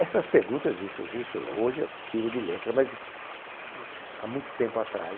Essas perguntas, isso, isso, hoje eu tiro de letra, mas há muito tempo atrás